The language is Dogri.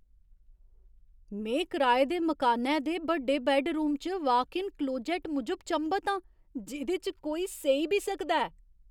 में कराए दे मकानै दे बड्डे बैड्डरूम च वाक इन क्लोजैट्ट मूजब चंभत आं, जेह्‌दे च कोई सेई बी सकदा ऐ।